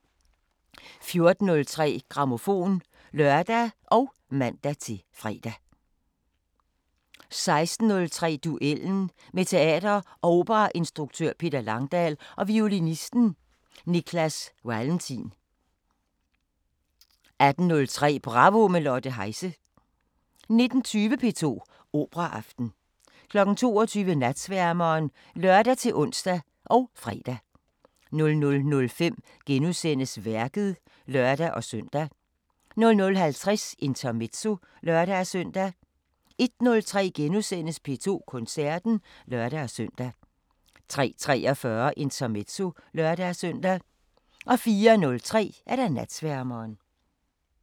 14:03: Grammofon (lør og man-fre) 16:03: Duellen – med teater- og operainstruktøren Peter Langdal og violinisten Niklas Walentin 18:03: Bravo – med Lotte Heise 19:20: P2 Operaaften 22:00: Natsværmeren (lør-ons og fre) 00:05: Værket *(lør-søn) 00:50: Intermezzo (lør-søn) 01:03: P2 Koncerten *(lør-søn) 03:43: Intermezzo (lør-søn) 04:03: Natsværmeren